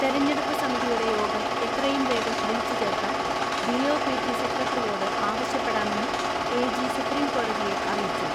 തെരഞ്ഞെടുപ്പ് സമിതിയുടെ യോഗം എത്രയും വേഗം വിളിച്ചുചേർക്കാൻ D O P T secretary യോട് ആവശ്യപ്പെടാമെന്ന് എ ജി സുപ്രീംകോടതിയെ അറി യിച്ചു.